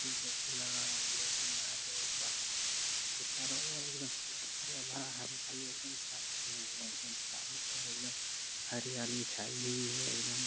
लगाया हुआ है हिआँ पे वाह के चारो और एकदम हरा भरा हरियाली है एकदम चारो और एकदम हरियाली छाई हुई है एकदम।